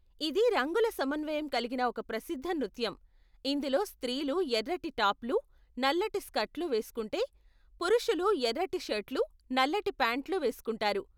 ఇది రంగుల సమన్వయం కలిగిన ఒక ప్రసిద్ధ నృత్యం, ఇందులో స్త్రీలు ఎర్రటి టాప్లు, నల్లటి స్కర్ట్లు వేస్కుంటే, పురుషులు ఎర్రటి షర్ట్లు, నల్లటి ప్యాంట్లు వేస్కుంటారు.